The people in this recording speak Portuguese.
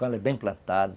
Quando ela é bem plantada,